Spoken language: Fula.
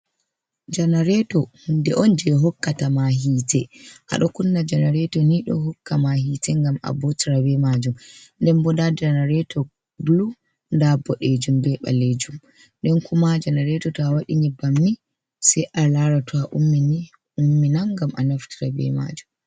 Janareto hunde on je hokkata ma hite, aɗo kunna janareto nido hokka ma hite ngam a botira be majum, nden bo nda janareto blu nda bodejum be balejum, nden kuma janareto ta wadi nyebbam ni sei a lara to a ummini umminan ngam a naftira be majum.